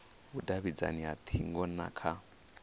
vhudavhidzano ha hingo na kha